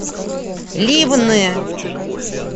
ливны